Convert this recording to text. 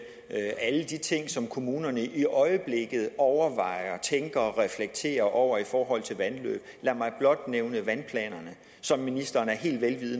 alle de ting som kommunerne i øjeblikket overvejer tænker og reflekterer over i forhold til vandløb lad mig blot nævne vandplanerne som ministeren er helt